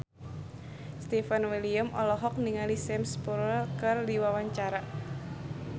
Stefan William olohok ningali Sam Spruell keur diwawancara